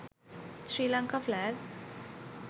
sri lanka flag